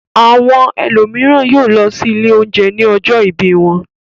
Àwọn ẹlòmíràn yóò lọ sí ilé-oúnjẹ ní ọjọ́ ìbí wọn.